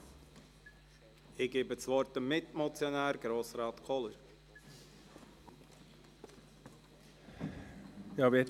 Ich gebe das Wort dem Mitmotionär, Grossrat Kohler.